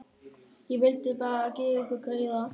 Ég vildi bara gera ykkur greiða.